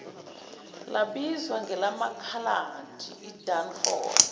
labizwa ngelamakhaladi idunford